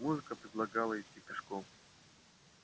музыка предлагала идти пешком